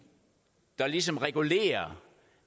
der ligesom regulerer